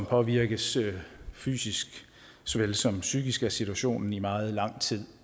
påvirkes fysisk såvel som psykisk af situationen i meget lang tid